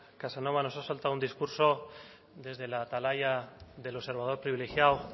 casanova nos ha soltado un discurso desde la atalaya del observador privilegiado